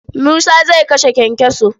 Musa zai kashe kyankyaso.